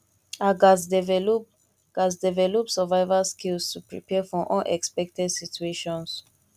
i gats develop gats develop survival skills to prepare for unexpected situations